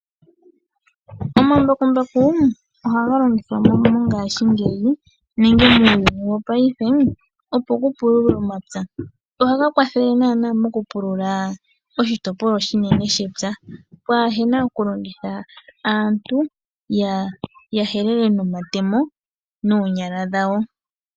Omambakumbaku ohaga longithwa mongashingeyi nenge muuuyuni wopaife opoku pululwe omapya. Ohaga kwathele nana moku pulula oshitopolwa oshinene shepya pwa hena oku longitha aantu yahelele nomatemo nonyala dhawo.